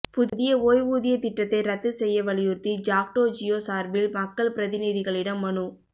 புதிய ஓய்வூதியத் திட்டத்தை ரத்து செய்ய வலியுறுத்தி ஜாக்டோ ஜியோ சார்பில் மக்கள் பிரதிநிதிகளிடம் மனு